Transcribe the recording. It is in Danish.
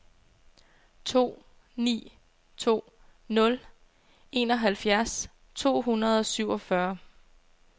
to ni to nul enoghalvfjerds to hundrede og syvogfyrre